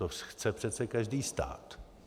To chce přece každý stát.